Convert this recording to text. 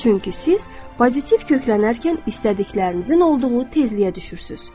Çünki siz pozitiv köklənərkən istədiklərinizin olduğu tezliyə düşürsünüz.